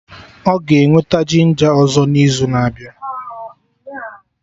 Ọ ga-eweta ginja ọzọ n'izu na-abịa